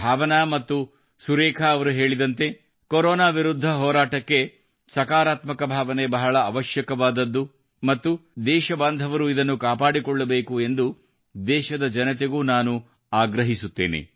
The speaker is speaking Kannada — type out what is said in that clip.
ಭಾವನಾ ಅವರು ಮತ್ತು ಸುರೇಖಾ ಅವರು ಹೇಳಿದಂತೆ ಕೊರೊನಾ ವಿರುದ್ಧ ಹೋರಾಟಕ್ಕೆ ಸಕಾರಾತ್ಮಕ ಭಾವನೆ ಬಹಳ ಅವಶ್ಯಕವಾದದ್ದು ಮತ್ತು ದೇಶಬಾಂಧವರು ಇದನ್ನು ಕಾಪಾಡಿಕೊಳ್ಳಬೇಕು ಎಂದು ದೇಶದ ಜನತೆಗೂ ನಾನು ಆಗ್ರಹಿಸುತ್ತೇನೆ